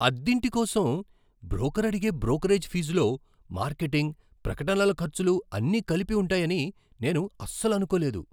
అద్దింటి కోసం బ్రోకర్ అడిగే బ్రోకరేజ్ ఫీజులో మార్కెటింగ్, ప్రకటనల ఖర్చులు అన్నీ కలిపి ఉంటాయని నేను అస్సలు అనుకోలేదు.